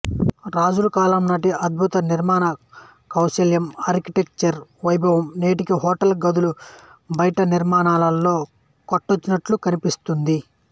రాజుల కాలంనాటి అద్భుత నిర్మాణ కౌశలం అర్టిటెక్చర్ వైభవం నేటికి హోటల్ గదుల బయటి నిర్మాణాల్లో కొట్టొచ్చినట్లు కనిపిస్తుంది